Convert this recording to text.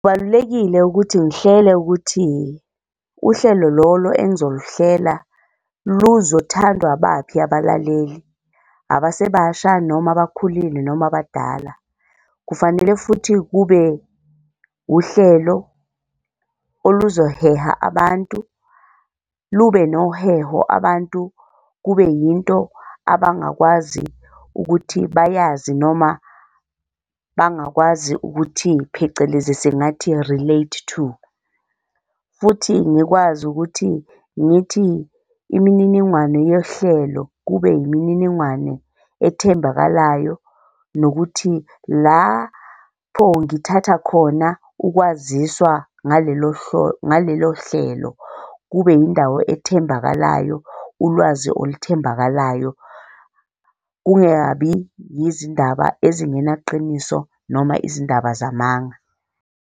Kubalulekile ukuthi ngihlele ukuthi uhlelo lolo engizoluhlela luzothandwa abaphi abalaleli, abasebasha noma abakhulile noma abadala? Kufanele futhi kube uhlelo oluzoheha abantu lube noheho abantu kube yinto abangakwazi ukuthi bayazi noma bangakwazi ukuthi phecelezi singathi relate to. Futhi ngikwazi ukuthi ngithi imininingwane yohlelo kube yimininingwane ethembakalayo nokuthi lapho ngithatha khona ukwaziswa ngalelo ngalelo hlelo kube yindawo ethembakalayo, ulwazi oluthembakalayo, kungabi yizindaba ezingenaqiniso, noma izindaba zamanga.